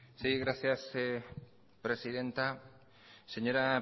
sí gracias presidenta señora